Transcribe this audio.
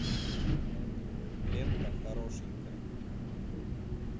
лента хорошенькая